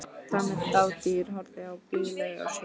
Tamið dádýr horfði á þá blíðlegt á svip.